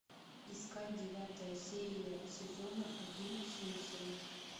искать девятая серия сезона один симпсоны